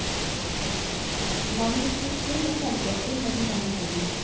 Mannen gikk borttil og kjente etter med den ene hånden.